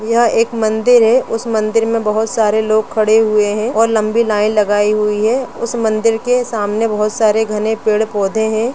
यह एक मंदिर है उस मंदिर में बहोत सारे लोग खड़े हुए है और लम्बी लाइन लगाई हुई है उस मंदिर के सामने बहोत सारे घने पेड़ पौधे है।